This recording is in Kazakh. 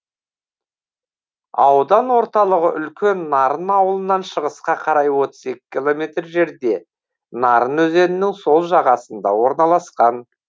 аудан орталығы үлкен нарын ауылынан шығысқа қарай отыз екі километр жерде нарын өзенінің сол жағасында орналасқан